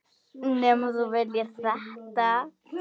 Nema þú viljir þetta?